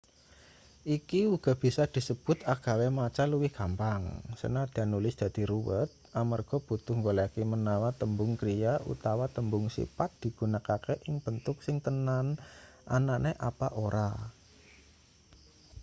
iki uga bisa disebut agawe maca luwih gampang sanadyan nulis dadi ruwet amarga butuh nggoleki menawa tembung kriya utawa tembung sipat digunakake ing bentuk sing tenan anane apa ora